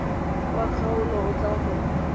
wa kgaolo o tla go